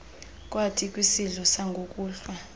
kwathi kwisidlo sangokuhlwa